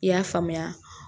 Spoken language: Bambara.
I y'a faamuya